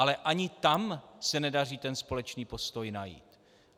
Ale ani tam se nedaří ten společný postoj najít.